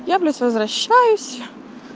я блять возвращаюсь